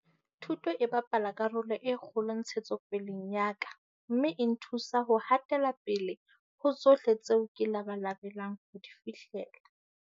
Thuto e bapala karolo e kgolo ntshetsopeleng ya ka mme e nthusa ho ha tela pele ho tsohle tseo ke labalabelang ho di fihlella.